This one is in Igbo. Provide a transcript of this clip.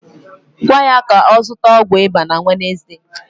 Gwa ya ka ọ zụta ọgwụ ịba na Wednesde